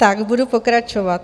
Tak budu pokračovat.